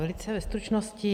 Velice ve stručnosti.